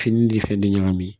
Fini ni fɛn de ɲagami